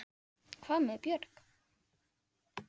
Hvað með Björk?